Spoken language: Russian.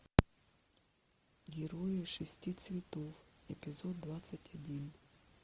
герои шести цветов эпизод двадцать один